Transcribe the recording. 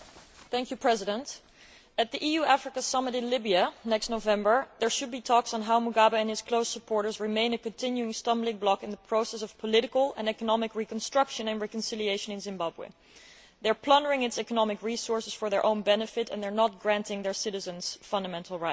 Mr President, at the EU Africa Summit in Libya next November there should be talks on how Mugabe and his close supporters remain a continuing stumbling block in the process of political and economic reconstruction and reconciliation in Zimbabwe. They are plundering its economic resources for their own benefit and they are not granting their citizens fundamental rights.